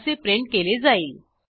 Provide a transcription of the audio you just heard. असे प्रिंट केले जाईल